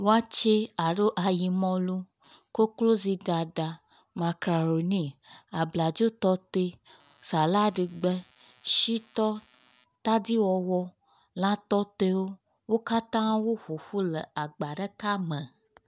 wɔtsɛ alo ayimɔlu koklozi ɖaɖa abladzo tɔtoe salad gbe shitɔ tadiwɔwɔ lã tɔtoewo wókatã wó ƒoƒu le agba ɖeka me